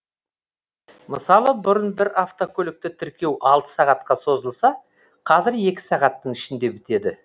мысалы бұрын бір автокөлікті тіркеу алты сағатқа созылса қазір екі сағаттың ішінде бітеді